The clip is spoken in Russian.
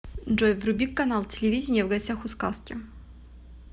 джой вруби канал телевидения в гостях у сказки